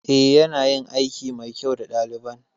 Eh ya nayin aiki mai kyau da ɗaliban